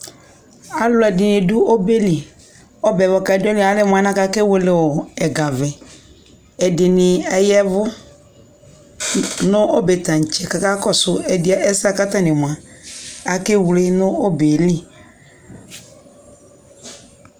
alʋʒdini dʋ ɔbʒʒli, ɔbʒʒ kʋ adʋaliʒ alʒmʋ alʒnʒʒ akawʒlʒʒ ʒgavʒʒ, ʒdini ayʒvʋ nʋ ɔbʒʒtankyi kʋ aka kɔsʋ ʒdɛʒ ʒsʒʒ ku atani moa kʒ wlʒʒ nʋ ɔbʒʒli